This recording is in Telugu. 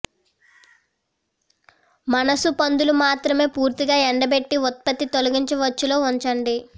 మనసు పందులు మాత్రమే పూర్తిగా ఎండబెట్టి ఉత్పత్తి తొలగించవచ్చు లో ఉంచండి